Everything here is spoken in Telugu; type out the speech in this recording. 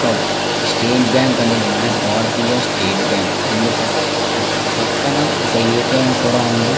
ఇక్కడ స్టేట్ బ్యాంకు అనేది కూడా వుంది భారతీయ ఎస్టేట్ బ్యాంకు పక్కన ఒక ఏ. టి. ఎం. కూడా వుంది.